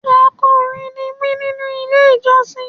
Akọrin ní mi nínú ilé ìjọsìn.